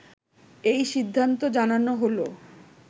এই সিদ্ধান্ত জানানো হলো